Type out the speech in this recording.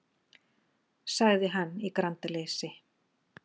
sagði hann í grandaleysi.